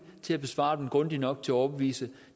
til at besvare dem grundigt nok til at overbevise